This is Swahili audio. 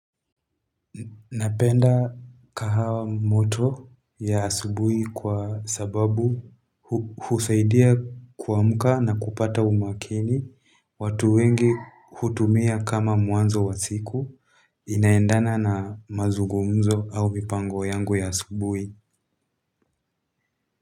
Napenda kahawa moto ya asubuhi kwa sababu husaidia kuamka na kupata umakini watu wengi hutumia kama mwanzo wa siku inaendana na mazugumzo au mipango yangu ya asubuhi.